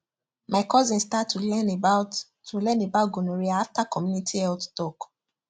my cousin start to learn about to learn about gonorrhea after community health talk